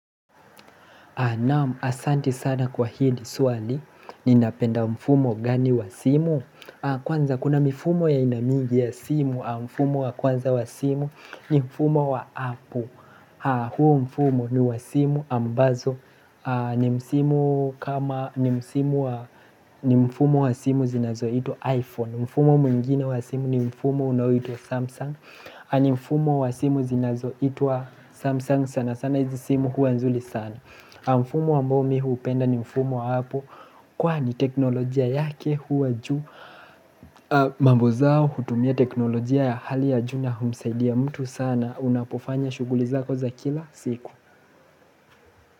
Naam, asanti sana kwa hili swali, ninapenda mfumo gani wa simu? Kwanza kuna mifumo ya aina mingi ya simu. Mfumo wa kwanza wa simu ni mfumo wa Apple. Huu mfumo ni wa simu ambazo ni mfumo wa simu zinazoitwa iPhone. Mfumo mwingine wa simu ni mfumo unaoitwa Samsung. Ni mfumo wa simu zinazoitwa Samsung sana sana hizi simu huwa nzuri sana. Mfumo ambao mi hupenda ni mfumo wa Apple, kwani teknolojia yake huwa juu, mambo zao hutumia teknolojia ya hali ya juu na humsaidia mtu sana unapofanya shughuli zako za kila siku.